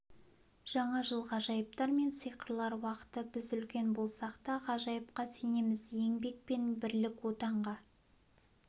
жаңа жыл ғажайыптар мен сиқырлар уақыты біз үлкен болсақ та ғажайыпқа сенеміз еңбек пен бірлік отанға